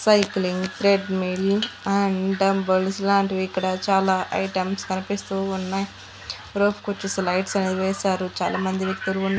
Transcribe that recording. Cycling treadmill and temples లాంటివి ఇక్కడ చాలా ఐటమ్స్ కనిపిస్తూ ఉన్నాయి రోప్ కోచ్చేసి లైట్స్ అనేది వేశారు చాలామంది వ్యక్తులు ఉన్నారు.